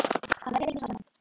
Að verja tíma saman.